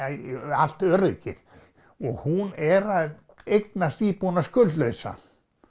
allt öryggið og hún er að eignast íbúðina skuldlausa